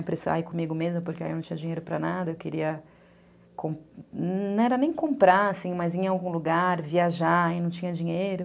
Ai, comigo mesma, porque aí eu não tinha dinheiro para nada, eu queria... Não era nem comprar, assim, mas ir em algum lugar, viajar, e não tinha dinheiro.